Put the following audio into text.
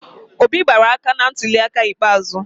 Obi gbara aka na ntuliaka ikpeazụ.